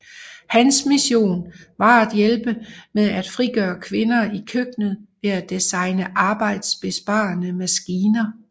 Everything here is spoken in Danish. Hans mission var at hjælpe med a frigøre kvinder i køkkenet ved at designe arbejdsbesparende maskiner